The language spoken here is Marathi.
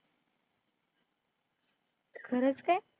खरंच काय?